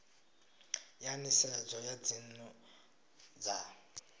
ya nisedzo ya dzinnu dza